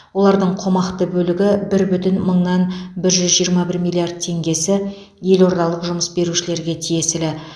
олардың қомақты бөлігі бір бүтін мыңнан бір жүз жиырма бір миллиард теңгесі елордалық жұмыс берушілерге тиесілі